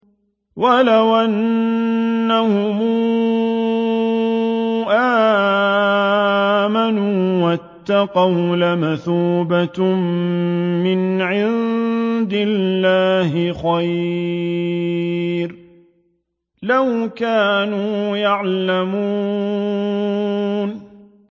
وَلَوْ أَنَّهُمْ آمَنُوا وَاتَّقَوْا لَمَثُوبَةٌ مِّنْ عِندِ اللَّهِ خَيْرٌ ۖ لَّوْ كَانُوا يَعْلَمُونَ